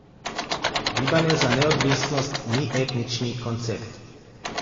Gibanje za neodvisnost ni etnični koncept.